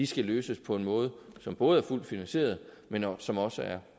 skal løses på en måde som både er fuldt finansieret men som også er